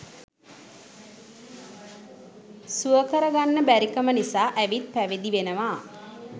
සුවකර ගන්න බැරිකම නිසා ඇවිත් පැවිදි වෙනවා.